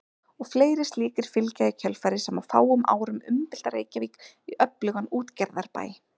Og fleiri slíkir fylgja í kjölfarið sem á fáum árum umbylta Reykjavík í öflugan útgerðarbæ.